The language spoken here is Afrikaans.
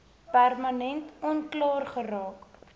permanent onklaar geraak